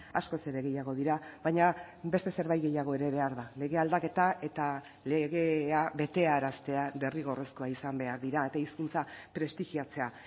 ugari askoz ere gehiago dira baina beste zerbait gehiago ere behar lege aldaketa eta legea betearaztea derrigorrezkoa izan behar dira eta hizkuntza prestigiatzea